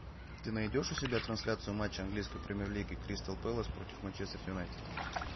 ты найдешь у себя трансляцию матча английской премьер лиги кристал пэлас против манчестер юнайтед